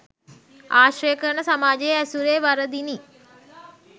ආශ්‍රය කරන සමාජයේ ඇසුරේ වරදිනි.